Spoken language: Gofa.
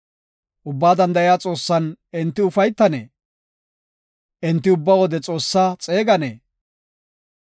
Ubbaa Danda7iya Xoossan enti ufaytanee? Enti ubba wode Xoossaa xeeganee?